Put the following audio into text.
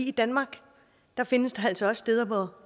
i danmark findes der altså også steder